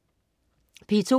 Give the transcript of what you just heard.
P2: